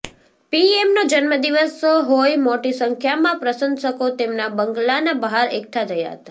પીએમનો જન્મદિવસ હોઈ મોટી સંખ્યામાં પ્રશંસકો તેમના બંગલાના બહાર એકઠા થયા હતા